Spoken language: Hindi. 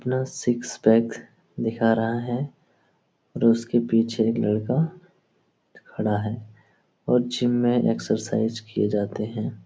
अपना सिक्स पैक दिखा रहा है जो उसके पीछे एक लड़का खड़ा है और जिम में एक्सरसाइज किये जाते हैं।